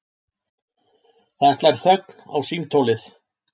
Það slær þögn á símtólið.